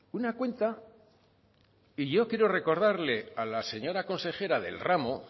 una cuenta y yo quiero recordarle a la señora consejera del ramo